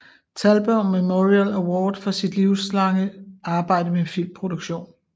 Thalberg Memorial Award for sit livslange arbejde med filmproduktion